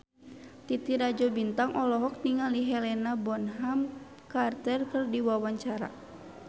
Titi Rajo Bintang olohok ningali Helena Bonham Carter keur diwawancara